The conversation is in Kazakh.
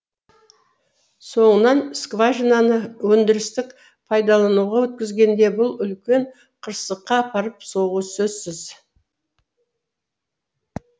соңынан скважинаны өндірістік пайдалануға өткізгенде бұл үлкен қырсыққа апарып соғуы сөзсіз